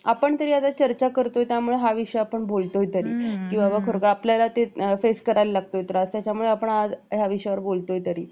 आपण तरी आता हा विषय चर्चा करतोय किंवा याविषयी आपण बोलतोय तरी की बाबा आपल्याला ते फेस करावे लागते त्याचा त्रास त्याच्यामुळे आपण या विषयावर बोलतोय तरी